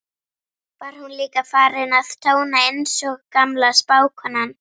var hún líka farin að tóna, einsog gamla spákonan.